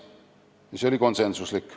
See otsus oli konsensuslik.